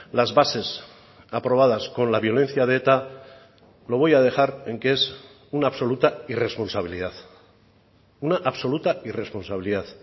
las bases aprobadas con la violencia de eta lo voy a dejar en que es una absoluta irresponsabilidad una absoluta irresponsabilidad